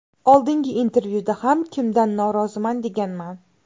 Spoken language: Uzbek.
Oldingi intervyuda ham kimdan noroziman deganman.